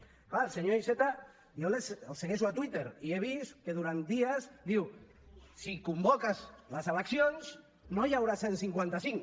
clar al senyor iceta jo el segueixo a twitter i he vist que durant dies diu si convoques les eleccions no hi haurà cent i cinquanta cinc